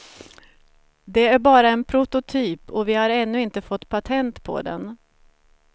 Det är bara en prototyp och vi har ännu inte fått patent på den.